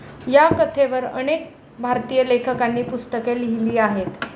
या कथेवर अनेक भारतीय लेखकांनी पुस्तके लिहिली आहेत.